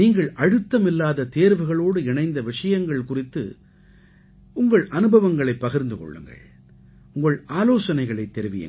நீங்கள் அழுத்தமில்லாத தேர்வுகளோடு இணைந்த விஷங்கள் குறித்து உங்கள் அனுபவங்களைப் பகிர்ந்து கொள்ளுங்கள் உங்கள் ஆலோசனைகளைத் தெரிவியுங்கள்